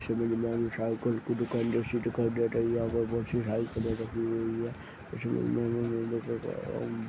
यहाँ बहुत सारी साइकिल-साइकिल की दुकान